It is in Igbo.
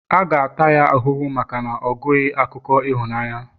a ga-ata ya ahụhụ maka ogụghi akụkọ ịhụnanya